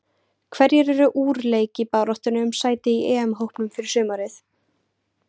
Hverjir eru úr leik í baráttunni um sæti í EM-hópnum fyrir sumarið?